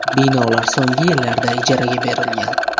Binolar so‘nggi yillarda ijaraga berilgan.